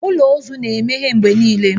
Ụlọ ozu na-emeghe mgbe niile